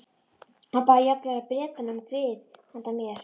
Hann bað jafnvel Bretana um grið handa mér.